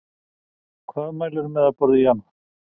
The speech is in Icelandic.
Hvað mælir þú með að borða í janúar?